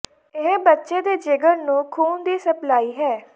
ਇਹ ਬੱਚੇ ਦੇ ਜਿਗਰ ਨੂੰ ਖ਼ੂਨ ਦੀ ਸਪਲਾਈ ਹੈ